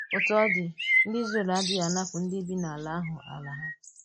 Òtù ọ̀ dị, ndị Ízrel àdịghị ànapù ndị bi n’alà ahụ alà ha.